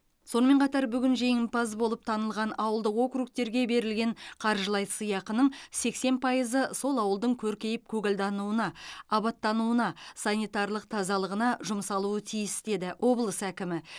сонымен қатар бүгін жеңімпаз болып танылған ауылдық округтерге берілген қаржылай сыйақының сексен пайызы сол ауылдың көркейіп көгалдануына абаттануына санитарлық тазалығына жұмсалуы тиіс деді облыс әкімі